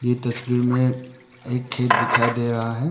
ये तस्वीर में एक खेत दिखाई दे रहा है।